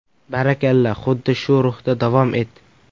Barakalla, xuddi shu ruhda davom et.